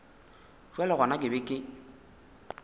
bjale gona ke be ke